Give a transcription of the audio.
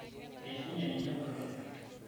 eishonye ninye engolon